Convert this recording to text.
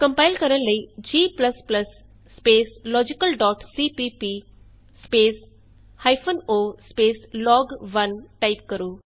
compile ਕਰਨ ਲਈ g logicalਸੀਪੀਪੀ o ਲੋਗ1 ਟਾਈਪ ਕਰੋ